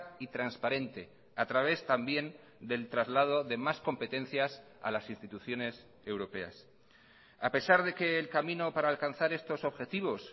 y transparente a través también del traslado de más competencias a las instituciones europeas a pesar de que el camino para alcanzar estos objetivos